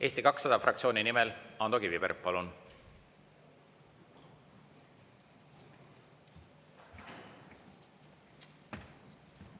Eesti 200 fraktsiooni nimel, Ando Kiviberg, palun!